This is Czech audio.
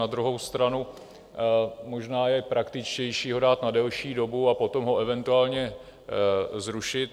Na druhou stranu možná je praktičtější ho dát na delší dobu a potom ho eventuálně zrušit.